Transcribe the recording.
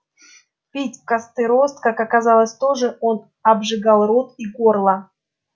пить костерост как оказалось тоже он обжигал рот и горло